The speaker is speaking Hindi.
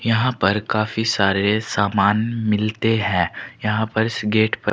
यहां पर काफी सारे सामान मिलते हैं यहां पर इस गेट पर--